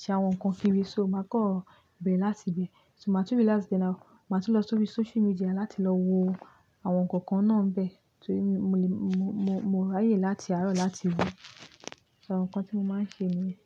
ṣe àwọn nǹkan kiirí, so màá kan bẹ̀ere láti ibẹ̀. So màá túb relax dáadá màá tún lọ sórí social media láti lọ wo àwọn nǹkan kan náà ń bẹ. So mo rí ààyè láti àárọ̀ láti wò àwọn nǹkan tí mo máa ń ṣe ni yen.